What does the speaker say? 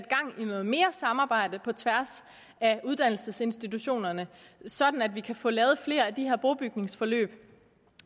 noget mere samarbejde på tværs af uddannelsesinstitutioner sådan at vi kan få lavet flere af de her brobygningsforløb